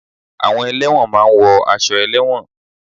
Àwọn ẹlẹ́won máa ń wọ aṣọ ẹlẹ́won